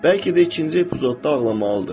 Bəlkə də ikinci epizodda ağlamalıdır.